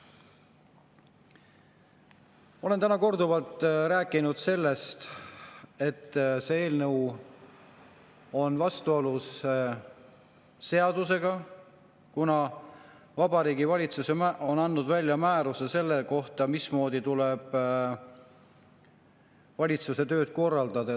Ma olen täna korduvalt rääkinud sellest, et see eelnõu on vastuolus seadusega, kuna Vabariigi Valitsus on andnud määruse selle kohta, mismoodi tuleb valitsuse tööd korraldada.